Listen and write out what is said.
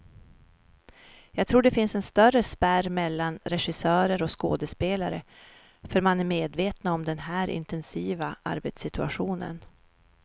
Jag tror det finns en större spärr mellan regissörer och skådespelare, för man är medvetna om den här intensiva arbetssituationen.